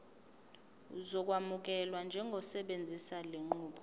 uzokwamukelwa njengosebenzisa lenqubo